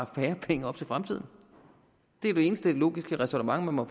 færre penge op til fremtiden det er det eneste logiske ræsonnement man må